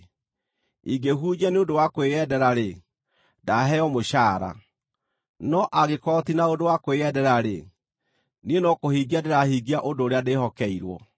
Ingĩhunjia nĩ ũndũ wa kwĩyendera-rĩ, ndaheo mũcaara; no angĩkorwo ti na ũndũ wa kwĩyendera-rĩ, niĩ no kũhingia ndĩrahingia ũndũ ũrĩa ndĩhokeirwo.